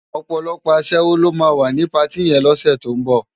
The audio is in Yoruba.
Òpòlòpò aṣèwó ló má wá ni páti yèn lòsè tó n bò